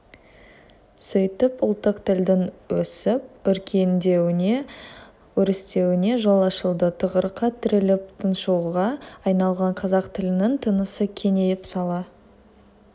сөйтіп ұлттық тілдің өсіп-өркендеуіне өрістеуіне жол ашылды тығырыққа тіреліп тұншығуға айналған қазақ тілінің тынысы кеңейіп сала